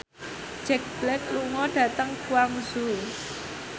Jack Black lunga dhateng Guangzhou